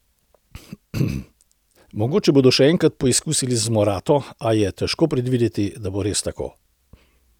Mogoče bodo še enkrat poizkusili z Morato, a je težko predvideti, da bo res tako.